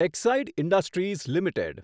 Exide Industries limited